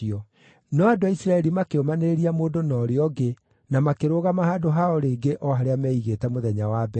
No andũ a Isiraeli makĩũmanĩrĩria mũndũ na ũrĩa ũngĩ na makĩrũgama handũ hao rĩngĩ o harĩa meigĩte mũthenya wa mbere.